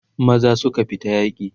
maza suka fita yaki